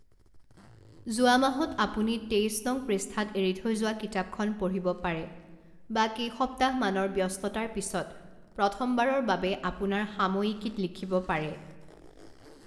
যোৱা মাহত আপুনি তেইছ নং পৃষ্ঠাত এৰি থৈ যোৱা কিতাপখন পঢ়িব পাৰে বা কেইসপ্তাহমানৰ ব্যস্ততাৰ পিছত প্ৰথমবাৰৰ বাবে আপোনাৰ সাময়িকীত লিখিব পাৰে।